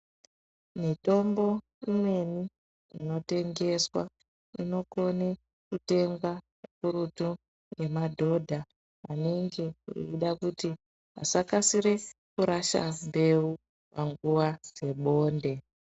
Mitombo imweni inotengeswa inokone kutengwa zvikurutu ngemadhodha anenge eida kuti asakasirise kurasha mbewu panguwa dzebonde.